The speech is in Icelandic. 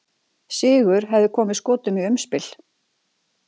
Sigur hefði komið Skotum í umspil.